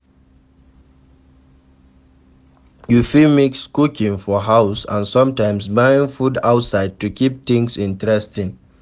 You fit mix cooking for house and sometimes buying food outside to keep things interesting